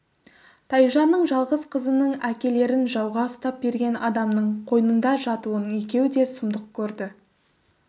тайжанның жалғыз қызының әкелерін жауға ұстап берген адамның қойнында жатуын екеуі де сұмдық көрді